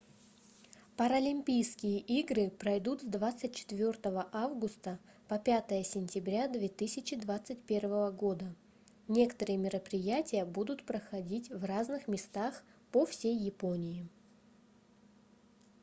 паралимпийские игры пройдут с 24 августа по 5 сентября 2021 года некоторые мероприятия будут проходить в разных местах по всей японии